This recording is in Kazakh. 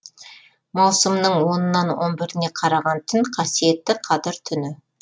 маусымның онынан он біріне қараған түн қасиетті қадір түні